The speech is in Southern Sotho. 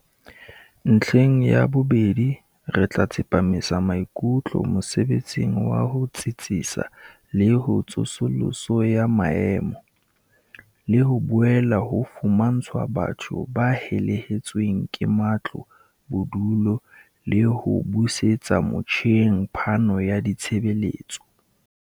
"Ntlheng ya bobedi, re tla tsepamisa maikutlo mosebetsing wa ho tsitsisa le ho tsosoloso ya maemo, le ho boela ho fumantshwa batho ba helehetsweng ke matlo bodulo le ho busetsa motjheng phano ya ditshebeletso."